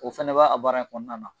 O fana ba a baara in kɔnɔna na